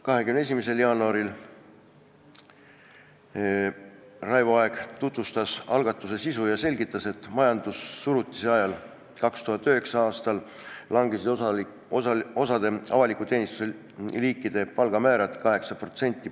21. jaanuaril tutvustas Raivo Aeg algatuse sisu ja selgitas, et majandussurutise ajal, 2009. aastal langes osa avaliku teenistuse liikide palgamäär 8%.